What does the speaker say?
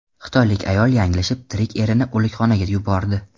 Xitoylik ayol yanglishib tirik erini o‘likxonaga yubordi.